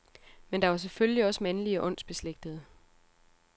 Men der var selvfølgelig også mandlige åndsbeslægtede.